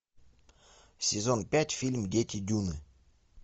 сезон пять фильм дети дюны